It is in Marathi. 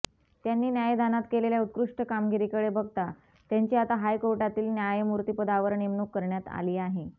त्यांनी न्यायदानात केलेल्या उत्कृष्ट कामगिरीकडे बघता त्यांची आता हायकोर्टातील न्यायमूर्तिपदावर नेमणूक करण्यात आली आहे